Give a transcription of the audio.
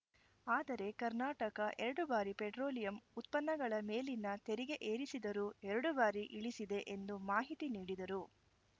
ಆದರೆ ಕರ್ನಾಟಕ ಎರಡು ಬಾರಿ ಪೆಟ್ರೋಲಿಯಂ ಉತ್ಪನ್ನಗಳ ಮೇಲಿನ ತೆರಿಗೆ ಏರಿಸಿದರೂ ಎರಡು ಬಾರಿ ಇಳಿಸಿದೆ ಎಂದು ಮಾಹಿತಿ ನೀಡಿದರು